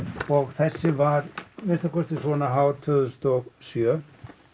þessi var að minnsta kosti svona hár tvö þúsund og sjö